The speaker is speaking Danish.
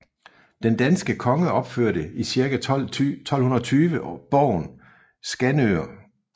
Den danske konge opførte i cirka 1220 borgen i Skanør